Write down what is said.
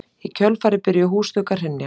Í kjölfarið byrjuðu húsþök að hrynja